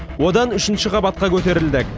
одан үшінші қабатқа көтерілдік